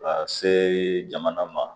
Ka see jamana ma